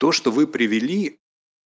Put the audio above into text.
то что вы привели